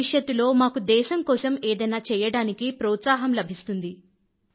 భవిష్యత్తులో మాకు దేశం కోసం ఏదైనా చెయ్యడానికి ప్రోత్సాహం లభిస్తుంది